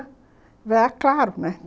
Aí eu falei, ah, claro, né?